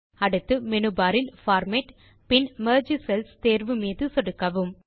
அடுத்து menu bar இல் format பின் மெர்ஜ் செல்ஸ் தேர்வு மீது சொடுக்கவும்